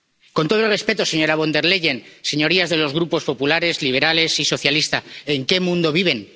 Con todos los respetos, señora Von der Leyen, señorías de los grupos populares, liberales y socialistas, ¿en qué mundo viven?